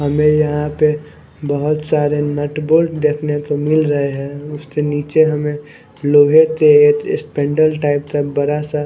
हमें यहां पे बहोत सारे नट बोल्ट देखने को मिल रहे हैं। उसके नीचे हमें लोहे के टाइप का बड़ा सा--